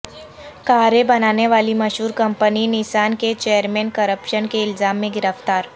کاریں بنانے والی مشہور کمپنی نسان کے چیئرمین کرپشن کے الزام میں گرفتار